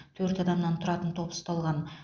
төрт адамнан тұратын топ ұсталған